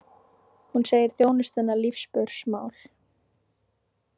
Hún segir þjónustuna lífsspursmál